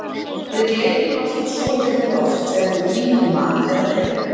við gleypum alltaf svolítið loft þegar við kyngjum mat eða drykk